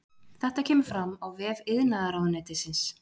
Þetta kemur fram á vef iðnaðarráðuneytisins